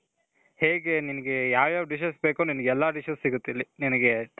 ಹೇಗೆ ನಿನ್ಗೆ ಯಾವ್ ಯಾವ್ dishes ಬೇಕು, ನಿನ್ಗೆ ಎಲ್ಲಾ dishes ಸಿಗುತ್ತಿಲ್ಲಿ ನಿನ್ಗೆ .